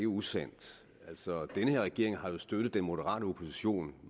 usandt altså denne regering har jo støttet den moderate opposition